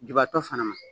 Jubatɔ fana ma